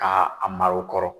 K' a a mar'o kɔrɔ.